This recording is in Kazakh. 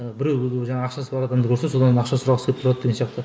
ы біреу і жаңағы ақшасы бар адамды көрсе содан ақша сұрағысы келіп тұрады деген сияқты